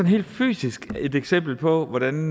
helt fysisk et eksempel på hvordan